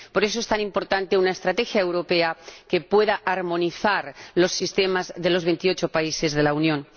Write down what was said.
Por eso es tan importante una estrategia europea que pueda armonizar los sistemas de los veintiocho países de la Unión.